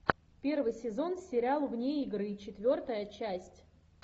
первый сезон сериал вне игры четвертая часть